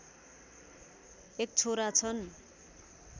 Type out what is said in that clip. एक छोरा छन्